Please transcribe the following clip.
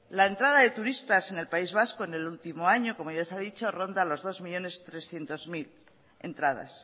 la entrada de turistas en el país vasco en el último año como ya se ha dicho ronda las dos millónes trescientos mil entradas